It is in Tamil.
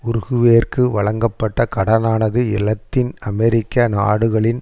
உருகுவேயிற்கு வழங்கப்பட்ட கடனானது இலத்தீன் அமெரிக்க நாடுகளின்